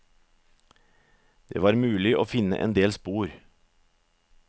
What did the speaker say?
Det var mulig å finne endel spor.